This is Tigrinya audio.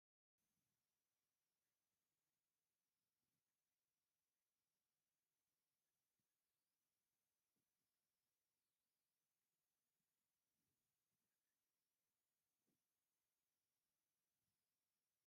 ሓደ ዓይነት ሕብሪ ብዘለዎም ነፋሒቶን ቁሳቑስን ዝደመቐ መድረኽ እኒሀ፡፡ እዚ መድረኽ ከምዚ ወቂቡ ክርአ ዝኸኣለ ንምንታይ ዓይነት ሰብ ንምቕባል እዩ?